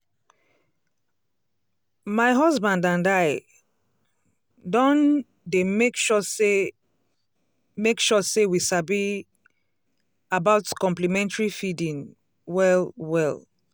um my husband and i um don dey make sure say make sure say we sabi um about complementary feeding well-well.